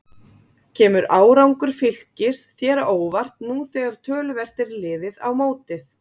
Kemur árangur Fylkis þér á óvart nú þegar töluvert er liðið á mótið?